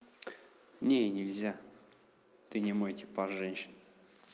не нельзя ты не мой типаж женщин